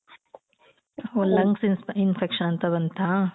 ಓಹ್ lungs inspe infection ಅಂತ ಬಂತಾ?